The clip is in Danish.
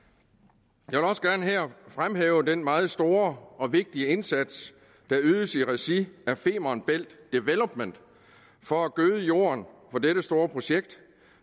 jeg vil også gerne her fremhæve den meget store og vigtige indsats der ydes i regi af femern bælt development for at gøde jorden for dette store projekt